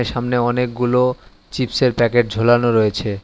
সামনে অনেকগুলো চিপসের প্যাকেট ঝোলানো রয়েছে।